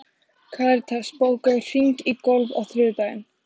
Karitas, bókaðu hring í golf á þriðjudaginn.